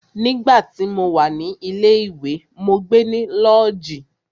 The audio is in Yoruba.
Nígbà tí mo wà ní ilé ìwé, mó gbe ní lọ́ọ̀jí.